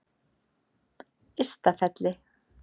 Ystafelli